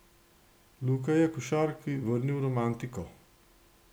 Luka je košarki vrnil romantiko.